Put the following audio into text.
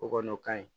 O kɔni o ka ɲi